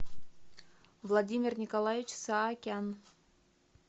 владимир николаевич саакян